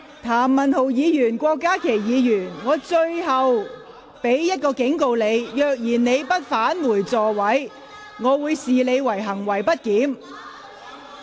譚文豪議員、郭家麒議員，我最後一次警告，如果你們不返回座位，我會視你們為行為極不檢點。